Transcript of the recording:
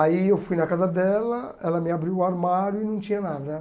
Aí eu fui na casa dela, ela me abriu o armário e não tinha nada.